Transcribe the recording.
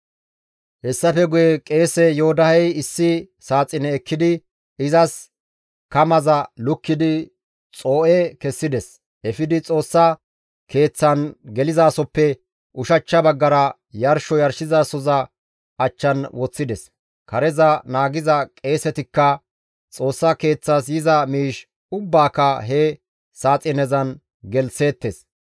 Hessafe guye qeese Yoodahey issi saaxine ekkidi izas kamaza lukkidi xoo7e kessides; efidi Xoossa Keeththan gelizasoppe ushachcha baggara yarsho yarshizasohoza achchan woththides. Kareza naagiza qeesetikka Xoossa Keeththas yiza miish ubbaaka he saaxinezan gelththeettes.